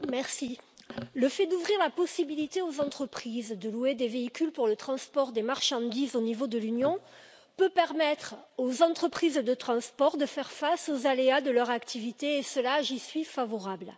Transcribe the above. Madame la Présidente, le fait d'ouvrir la possibilité aux entreprises de louer des véhicules pour le transport des marchandises au niveau de l'Union peut permettre aux entreprises de transport de faire face aux aléas de leur activité, et cela, j'y suis favorable.